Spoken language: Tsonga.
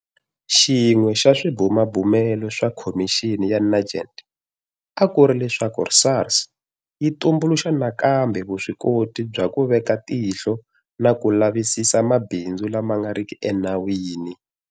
Xin'we xa swibumabumelo swa Khomixini ya Nugent a ku ri leswaku SARS yi tumbuluxa nakambe vuswikoti bya ku veka tihlo na ku lavisisa mabindzu lama nga riki enawini.